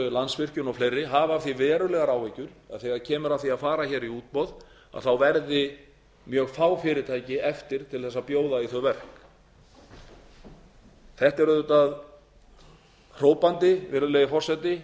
landsvirkjun og fleiri hafa af því verulegar áhyggjur að þegar kemur að því að fara í útboð þá verði mjög fá fyrirtæki eftir til að bjóða í þau verk þetta er auðvitað hrópandi virðulegi forseti